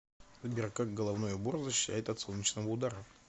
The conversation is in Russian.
сбер как головной убор защищает от солнечного удара